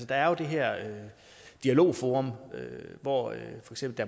der er det her dialogforum hvor